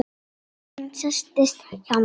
Konan settist hjá mér.